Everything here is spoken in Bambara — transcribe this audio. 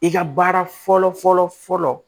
I ka baara fɔlɔ fɔlɔ fɔlɔ